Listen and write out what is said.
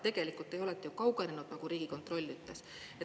Tegelikult te olete kaugenenud, nagu Riigikontroll ütles.